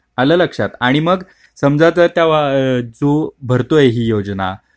आला लक्षात आणि मग समजा तू भरतोय हि योजना